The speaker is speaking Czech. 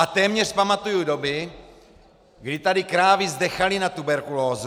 A téměř pamatuju doby, kdy tady krávy zdechaly na tuberkulózu.